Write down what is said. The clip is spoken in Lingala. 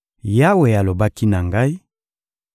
Yawe alobaki na ngai: